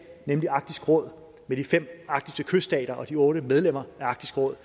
nemlig arktisk råd med de fem arktiske kyststater og otte medlemmer af arktisk råd